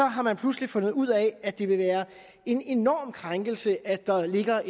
har man pludselig fundet ud af at det vil være en enorm krænkelse at der ligger